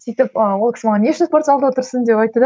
сөйтіп ыыы ол кісі маған не үшін спортзалда отырсың деп айтты да